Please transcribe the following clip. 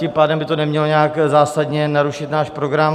Tím pádem by to nemělo nějak zásadně narušit náš program.